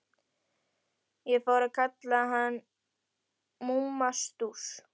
Ég fór að kalla hann Mumma Stúss.